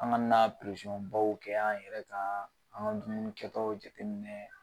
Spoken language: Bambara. An gana na baw kɛ an yɛrɛ kan an ka dumuni kɛtaw jateminɛ